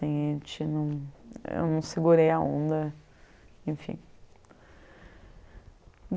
a gente não. Eu não segurei a onda enfim.